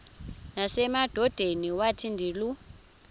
nasemadodeni wathi ndilu